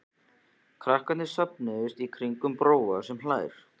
Krakkarnir safnast í kringum Bróa sem hlær.